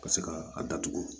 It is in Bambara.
Ka se ka a datugu